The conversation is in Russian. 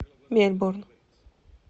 мельбурн